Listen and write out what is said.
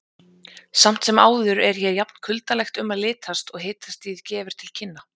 Samt sem áður er hér jafn kuldalegt um að litast og hitastigið gefur til kynna.